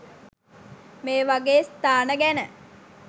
මේවගේ ස්ථාන ගැන